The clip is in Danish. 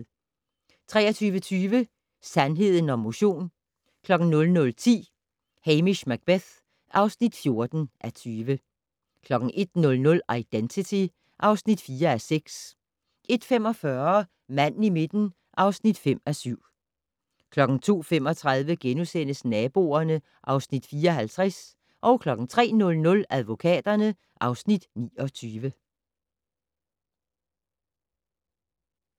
23:20: Sandheden om motion 00:10: Hamish Macbeth (14:20) 01:00: Identity (4:6) 01:45: Manden i midten (5:7) 02:35: Naboerne (Afs. 54)* 03:00: Advokaterne (Afs. 29)*